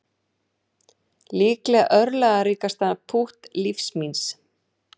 Líklega örlagaríkasta pútt lífs míns